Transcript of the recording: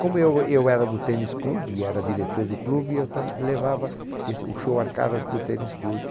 Como eu eu era do tênis clube, era diretor do clube, eu tam levava esse o show Arcadas para o tênis clube.